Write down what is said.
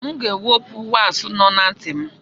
M ga-ewepụ waaksị nọ na ntị m.